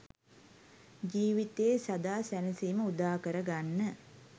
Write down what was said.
ජීවිතයේ සදා සැනසීම උදාකර ගන්න.